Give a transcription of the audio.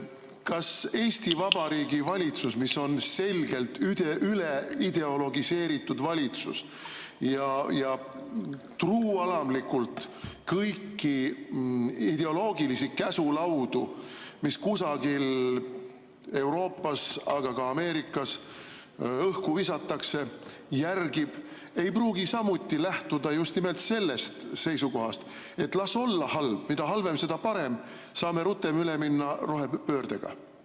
Kas Eesti Vabariigi valitsus, mis on selgelt üleideologiseeritud valitsus ja järgib truualamlikult kõiki ideoloogilisi käsulaudu, mis kusagil Euroopas, aga ka Ameerikas õhku visatakse, ei pruugi samuti lähtuda just nimelt sellest seisukohast, et las olla halb, mida halvem, seda parem, saame rutem üle minna rohepöördele?